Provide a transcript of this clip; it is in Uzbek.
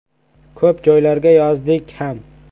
Ko‘p joylarga yozdik ham.